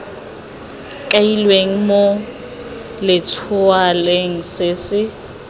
kailweng mo letshwaong se se